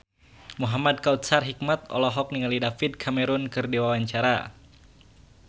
Muhamad Kautsar Hikmat olohok ningali David Cameron keur diwawancara